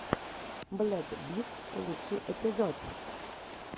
блэк битс лучший эпизод